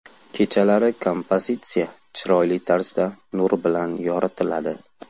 Kechalari kompozitsiya chiroyli tarzda nur bilan yoritiladi.